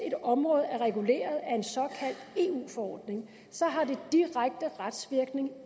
et område er reguleret af en såkaldt eu forordning har det direkte retsvirkning